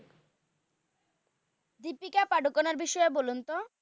দ্বিপিকা পাডুকোনের বিষয়ে বলুন তো?